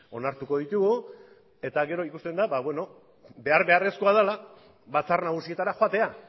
onartuko ditugu eta gero ikusten da behar beharrezkoa dela batzar nagusietara joatea